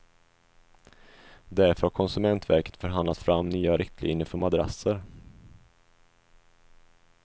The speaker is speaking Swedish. Därför har konsumentverket förhandlat fram nya riktlinjer för madrasser.